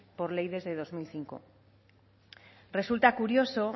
por ley desde dos mil cinco resulta curioso